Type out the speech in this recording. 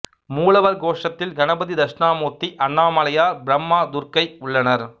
மூலவர் கோஷ்டத்தில் கணபதி தட்சிணாமூர்த்தி அண்ணாமலையார் பிரம்மா துர்க்கை உள்ளனர்